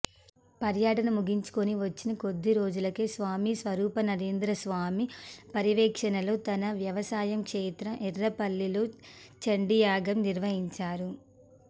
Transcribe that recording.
పర్యటన ముగించుకొని వచ్చిన కొద్దిరోజులకే స్వామి స్వరూపానందేంద్ర స్వామి పర్యవేక్షణలో తన వ్యవసాయ క్షేత్రం ఎర్రవల్లిలో చండీయాగం నిర్వహించారు